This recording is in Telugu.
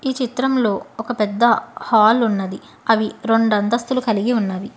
ఈ చిత్రంలో ఒక పెద్ద హాల్ ఉన్నది అవి రొండంస్తులు కలిగి ఉన్నవి.